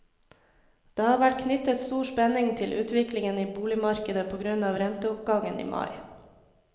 Det har vært knyttet stor spenning til utviklingen i boligmarkedet på grunn av renteoppgangen i mai.